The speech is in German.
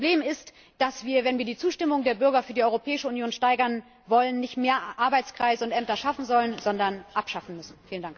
Das Problem ist, dass wir, wenn wir die Zustimmung der Bürger für die Europäische Union steigern wollen, nicht mehr Arbeitskreise und Ämter schaffen sollen, sondern abschaffen müssen.